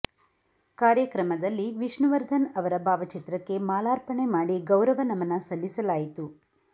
ಕಾರ್ಯಕ್ರಮದಲ್ಲಿ ವಿಷ್ಣುವರ್ಧನ್ ಅವರ ಭಾವಚಿತ್ರಕ್ಕೆ ಮಾಲಾರ್ಪಣೆ ಮಾಡಿ ಗೌರವ ನಮನ ಸಲ್ಲಿಸಲಾಯಿತು